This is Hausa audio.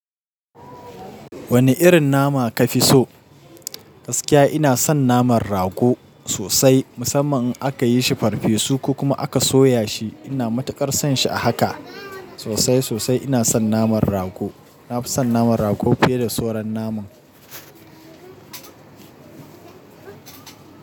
Wani irin nama ka fi so? Gaskiya ina son naman rago sosai, musamman in aka yi shi farfesu ko kuma aka soya shi. Ina matuƙar son shi a haka sosai sosai. Ina son naman rago. Na fi son naman rago fiye da sauran naman.